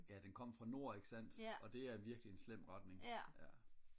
ja den kom fra nord ikke sandt og det er virkelig en slem retning ja